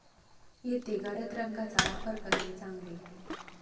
येथे गडद रंगांचा वापर करणे चांगले.